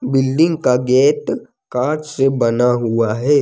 Building का gate कांच से बना हुआ है।